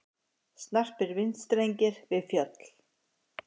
Snarpir vindstrengir við fjöll